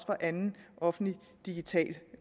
for anden offentlig digital